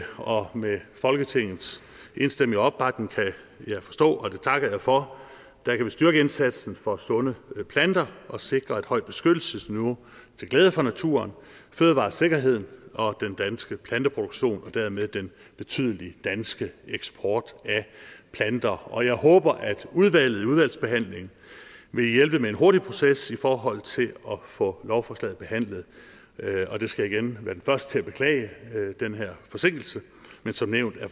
og med folketingets enstemmige opbakning kan jeg forstå og det takker jeg for kan vi styrke indsatsen for sunde planter og sikre et højt beskyttelsesniveau til glæde for naturen fødevaresikkerheden og den danske planteproduktion og dermed den betydelige danske eksport af planter og jeg håber at udvalget i udvalgsbehandlingen vil hjælpe med en hurtig proces i forhold til at få lovforslaget behandlet jeg skal igen være den første til at beklage den her forsinkelse men som nævnt er